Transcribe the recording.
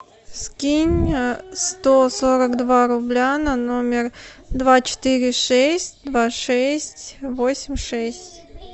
скинь сто сорок два рубля на номер два четыре шесть два шесть восемь шесть